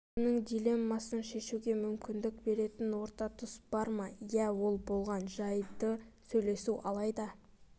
екеуінің дилеммасын шешуге мүмкіндік беретін орта тұс бар ма иә ол болған жайды сөйлесу алайда